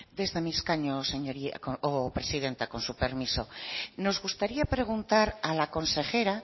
desde mi escaño presidenta con su permiso nos gustaría preguntar a la consejera